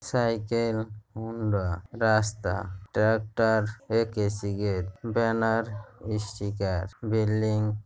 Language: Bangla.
সাইকেল হুন্ডা রাস্তা ডাক্তার ব্যানার স্টিকা্‌র বিল্ডিং ।